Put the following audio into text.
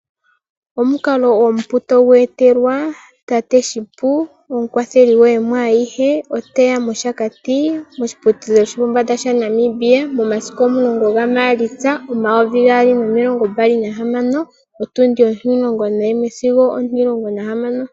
Omukalo omupu togu etelwa . Tate shipu omukwatheli gwaaluhe oteya moshakati moshi putudhilo shopombanda sha Namibia momasiku omulongo ga maalitsa omayovi gaali nomilongombali nahamano, otundi ontimulongo nayimwe singo ontihamano.